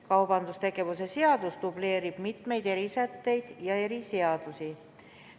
Kaubandustegevuse seadus dubleerib mitmeid erisätteid ja eriseadusi.